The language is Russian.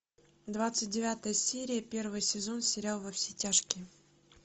двадцать девятая серия первый сезон сериал во все тяжкие